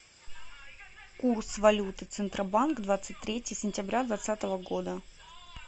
курс валюты центробанк двадцать третье сентября двадцатого года